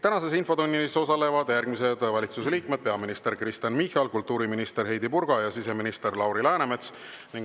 Tänases infotunnis osalevad järgmised valitsuse liikmed: peaminister Kristen Michal, kultuuriminister Heidy Purga ja siseminister Lauri Läänemets.